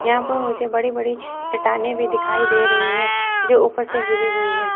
यहां पर मुझे बड़ी बड़ी चट्टानें भी दिखाई दे रही हैं जो ऊपर से गिरी हुई है।